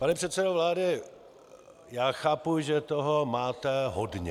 Pane předsedo vlády, já chápu, že toho máte hodně.